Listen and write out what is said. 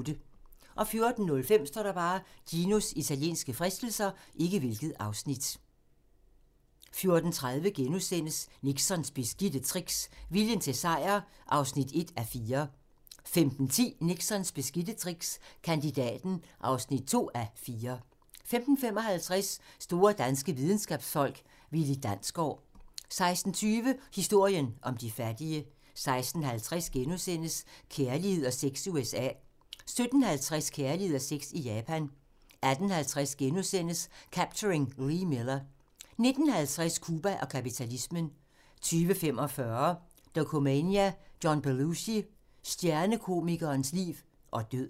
14:05: Ginos italienske fristelser 14:30: Nixons beskidte tricks – viljen til sejr (1:4)* 15:10: Nixons beskidte tricks – Kandidaten (2:4) 15:55: Store danske videnskabsfolk: Willi Dansgaard 16:20: Historien om de fattige 16:50: Kærlighed og sex i USA * 17:50: Kærlighed og sex i Japan 18:50: Capturing Lee Miller * 19:50: Cuba og kapitalismen 20:45: Dokumania: John Belushi – Stjernekomikerens liv og død